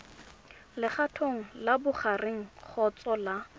legatong la bogareng kgotsa la